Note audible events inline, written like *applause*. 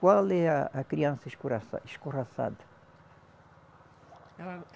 Qual é a a criança escorraça, escorraçada? *unintelligible*